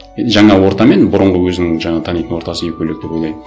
енді жаңа орта мен бұрынғы өзінің жаңа танитын ортасы екі бөлек деп ойлаймын